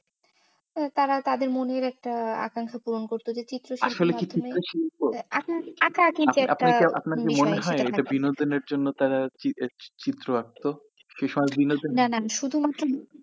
তো তারা তাদের মনে একটা আকাঙ্খা পূরণ করত। ওদের চিত্র শিল্পের মাধ্যমে। আসলেই কি চিত্র শিল্প? আপনার কি মনে হয় এই যে বিনোদনের জন্য তারা চিৎ~ চিত্র আঁকত, না না শুধু মাত্র।